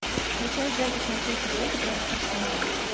включай запись манчестер сити против арсенала